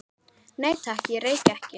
Nei, takk, ég reyki ekki